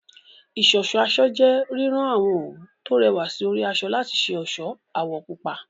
Ìṣọ̀ṣọ́ aṣọ jẹ́ rírán àwọn òwú tó rẹwà sí orí aṣọ láti ṣe ọ̀ṣọ́ àwọ̀ púpọ̀